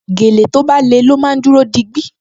Gèlè tó bá le ló máa dúró digbí